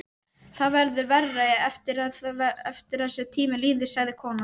Það verður verra eftir því sem tíminn líður, sagði konan.